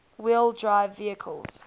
wheel drive vehicles